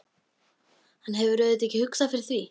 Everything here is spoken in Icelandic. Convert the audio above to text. Hann hefur auðvitað ekki hugsað fyrir því?